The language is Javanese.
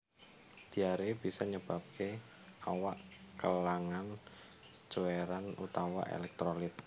Diaré bisa nyebabaké awak kelangan cuèran utawa elektrolit